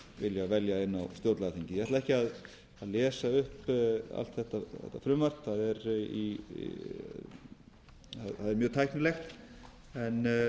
vilja velja inn á stjórnlagaþingið ég ætla ekki að lesa upp allt þetta frumvarp það er mjög tæknilegt en